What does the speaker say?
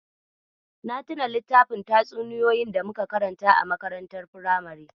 Na tuna littafin tatsuniyoyi da muka karanta a makarantar firamare.